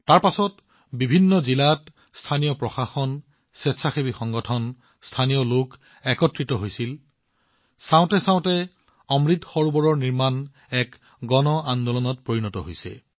তাৰ পিছত স্থানীয় প্ৰশাসন বিভিন্ন জিলা একত্ৰিত হৈছিল স্বেচ্ছাসেৱী সংগঠনবোৰ একত্ৰিত হৈছিল আৰু স্থানীয় লোকসকল একত্ৰিত হৈছিল চাওঁতে চাওঁতে অমৃত সৰোবৰৰ নিৰ্মাণ এক গণ আন্দোলনত পৰিণত হৈছে